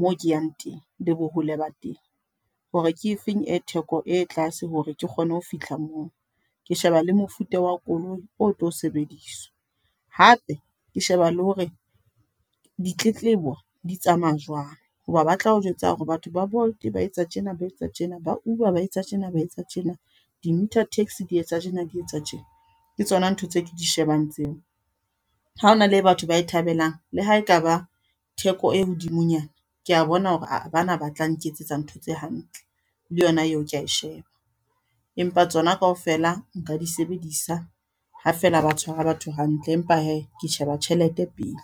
moo ke yang teng, le bohole ba teng. Hore ke efeng e theko e tlase hore ke kgone ho fihla moo. Ke sheba le mofuta wa koloi o tlo sebediswa. Hape, ke sheba le hore ditletlebo di tsamaya jwang. Hoba ba tlao jwetsa hore batho ba Bolt ba etsa tjena, ba etse tjena. Ba Uber baetse tjena, ba etse tjena. Di-Meter Taxi di etsa tjena, di etsa tjena. Ke tsona ntho tse ke di shebang tseo. Ha hona le e batho ba e thabelang, le ha ekaba theko e hodimonyana. Ke a bona hore bana ba tla nketsetsa ntho tse hantle, le yona eo ke a e sheba. Empa tsona kaofela nka di sebedisa, ha fela ba tshwara batho hantle. Empa he, ke sheba tjhelete pele.